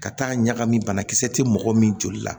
Ka taa ɲagami banakisɛ tɛ mɔgɔ min joli la